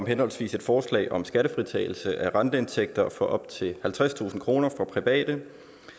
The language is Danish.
henholdsvis et forslag om skattefritagelse af renteindtægter for op til halvtredstusind kroner for private